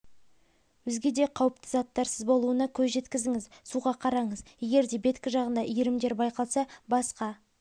өзге де қауіпті заттарсыз болуына көз жеткізіңіз суға қараңыз егерде беткі жағында иірімдер байқалса басқа